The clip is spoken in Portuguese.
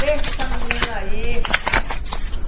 Deixa essa menina aí.